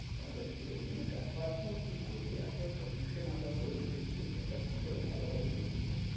তাহলে ঠিক হতো। কিন্তু ব্যাপারটাও কি করবে এত pollution আমরা করে রেখেছি যে weather কি করে ভাল হবে বলুনতো।